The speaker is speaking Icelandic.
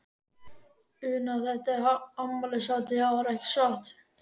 Una, þetta er afmælishátíð í ár, ekki satt?